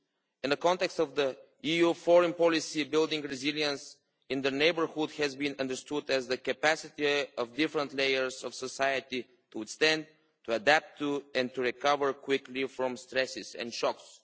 In the context of EU foreign policy, building resilience in the neighbourhood has been understood as the capacity of different layers of society to withstand, adapt to and recover quickly from stresses and shocks.